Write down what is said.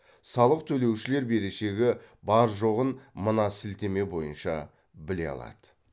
салық төлеушілер берешегі бар жоғын мына сілтеме бойынша біле алады